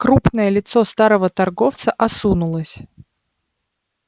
крупное лицо старого торговца осунулось